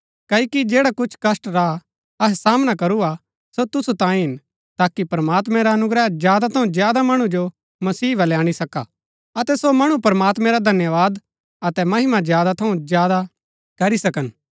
क्ओकि जैड़ा कुछ कष्‍ट रा अहै सामना करू हा सो तुसु तांयें हिन ताकि प्रमात्मैं रा अनुग्रह ज्यादा थऊँ ज्यादा मणु जो मसीह बलै अणी सका अतै सो मणु प्रमात्मैं रा धन्यवाद अतै महिमा ज्यादा थऊँ ज्यादा करी सकन